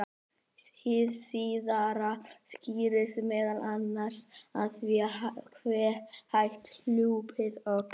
hið síðara skýrist meðal annars af því hve hægt hlaupið óx